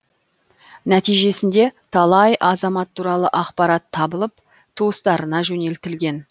нәтижесінде талай азамат туралы ақпарат табылып туыстарына жөнелтілген